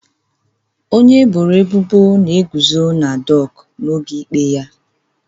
Onye eboro ebubo na-eguzo na dọkụ n'oge ikpe ya